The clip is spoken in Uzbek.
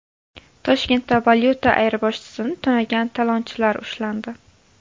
Toshkentda valyuta ayirboshchisini tunagan talonchilar ushlandi.